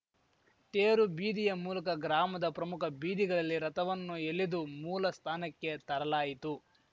ತೇರು ಬೀದಿಯ ಮೂಲಕ ಗ್ರಾಮದ ಪ್ರಮುಖ ಬೀದಿಗಲಲ್ಲಿ ರಥವನ್ನು ಎಲೆದು ಮೂಲ ಸ್ಥಾನಕ್ಕೆ ತರಲಾಯಿತು